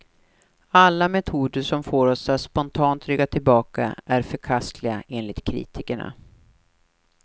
Alla metoder som får oss att spontant rygga tillbaka är förkastliga, enligt kritikerna.